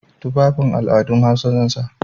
Tufafin al'adun Hausa zan sa.